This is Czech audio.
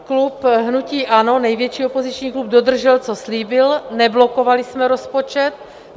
Klub hnutí ANO, největší opoziční klub, dodržel, co slíbil, neblokovali jsme rozpočet.